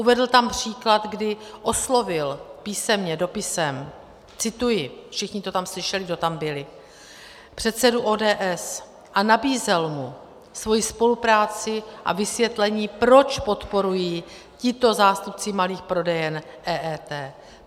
Uvedl tam příklad, kdy oslovil písemně, dopisem - cituji, všichni, to tam slyšeli, kdo tam byli - předsedu ODS a nabízel mu svoji spolupráci a vysvětlení, proč podporují tito zástupci malých prodejen EET.